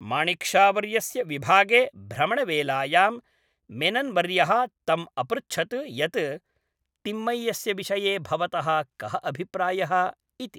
माणिक् शावर्यस्य विभागे भ्रमणवेलायां, मेनन्वर्यः तम् अपृच्छत् यत् तिम्मय्यस्य विषये भवतः कः अभिप्रायः इति।